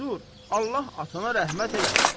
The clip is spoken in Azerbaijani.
Dur, Allah atana rəhmət eləsin.